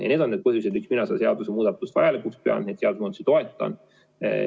Ja need on need põhjused, miks mina selle seaduse muutmist vajalikuks pean, neid seadusemuudatusi toetan.